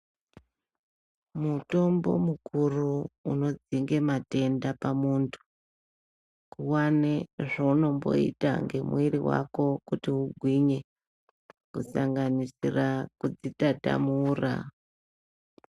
Mutombo mukuru unodzinge matenda pamuntu kuwane zvawunomboita ngemwiri wako kuti ugwinye kusanganisira kudzitatamura.